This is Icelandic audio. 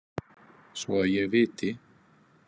Svo að ég viti.